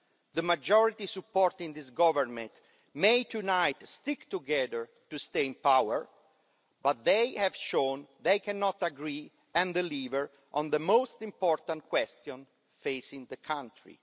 The majority supporting this government may tonight stick together to stay in power, but they have shown they cannot agree and deliver on the most important question facing the country.